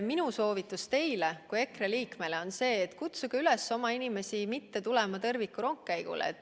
Minu soovitus teile kui EKRE liikmele on, et kutsuge üles oma inimesi mitte tulema tõrvikurongkäigule.